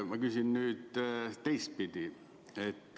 Ma küsin nüüd teistpidi.